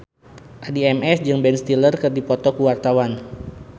Addie MS jeung Ben Stiller keur dipoto ku wartawan